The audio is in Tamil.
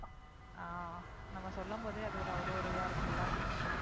ஹம் நம்ம சொல்லும்போதே அது ஒரு அவ்ளோ இதா இருக்குல.